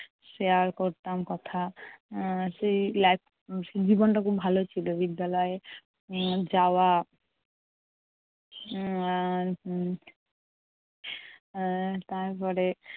share করতাম কথা। আহ সেই life সেই জীবনটা খুব ভালো ছিল। বিদ্যালয়ে উম যাওয়া উম এর এর তারপরে